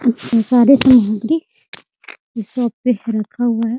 सारे सामग्री शॉप पे रखा हुआ है ।